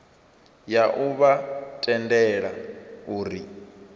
ya u vha tendela uri